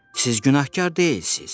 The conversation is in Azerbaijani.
Siz günahkar deyilsiz.